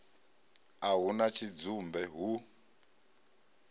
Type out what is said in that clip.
a hu na tshidzumbe hu